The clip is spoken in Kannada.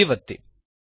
G ಒತ್ತಿ